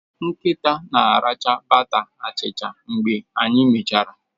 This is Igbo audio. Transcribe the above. Nkịta na-aracha bata achicha mgbe anyị mechara.